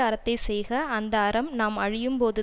அறத்தை செய்க அந்த அறம் நாம் அழியும் போது